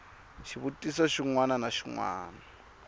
xivutiso xin wana na xin